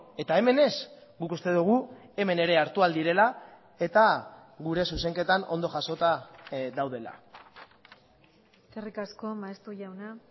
eta hemen ez guk uste dugu hemen ere hartu ahal direla eta gure zuzenketan ondo jasota daudela eskerrik asko maeztu jauna